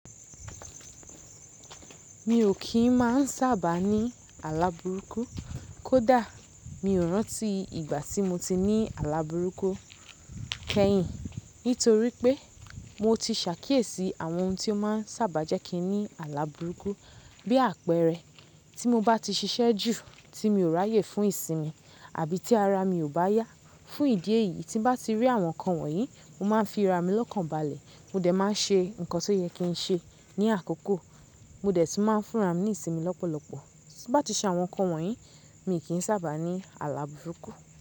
Mi ò kí ń máa sàbà ní àla bùrúkú kódà mi ò rántí ìgbà tí mo ti ní àla bùrúkú kẹ́yìn nítorí pé mo ti sàkíyèsí àwọn ohun tí ó máa sàbà jẹ́ kí n ní àlabùrúkú bí àpẹẹrẹ tí mo bá ti ṣiṣẹ́ jù tí mi ò ráyè fún ìsinmi àbí tí ara mi ò bá yá. Fún ìdí èyí tí bá ti rí àwọn ǹkan wọ̀nyí mo máa ń fi ara mi lọ́kàn balẹ̀. Mo dẹ̀ máa ń ṣe ǹkan tó yẹ kí n ṣe ní àkọ́kọ́. Mo dẹ̀ tún máa ń fúnra mi ní ìsinmi lọ́pọ̀lọpọ̀. Tiba ti ṣe àwọn ǹkan wọ̀nyí mi kì í sàbà ní àlabùrúkú.